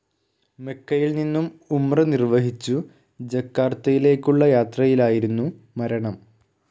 മെക്കയിൽ നിന്നും ഉംറ നിർവഹിച്ചു ജക്കാർത്തയിലേക്കുളള യാത്രയിലായിരുന്നു മരണം.